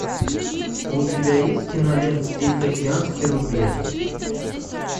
у тебя есть кинолента тихоокеанский рубеж